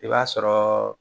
I b'a sɔrɔ